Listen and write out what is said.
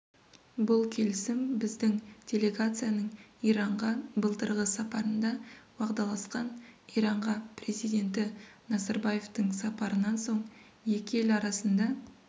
бұл келісім біздің делегацияның иранға былтырғы сапарында уағдаласқан иранға президенті назарбаевтың сапарынан соң екі ел арасында